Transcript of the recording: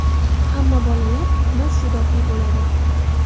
Hamma bolalar tug‘ma iste’dodli bo‘ladi.